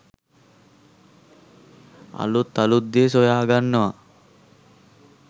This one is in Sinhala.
අලුත් අලුත් දේ සොයාගන්නවා